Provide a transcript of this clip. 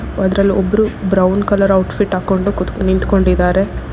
ಅದ್ರಲ್ ಒಬ್ಬರು brown colour outfit ಹಾಕೊಂಡ್ ಕೂತ್- ನಿಂತ್ಕೊಂಡಿದ್ದಾರೆ.